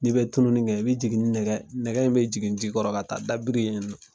N'i bɛ tununi kɛ, i bɛ jigin ni nɛgɛ, nɛgɛ in bɛ jigin ji kɔrɔ ka taa dabiri yen